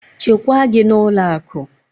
Chekwaa gị n'ụlọ akụ!